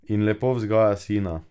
In lepo vzgaja sina.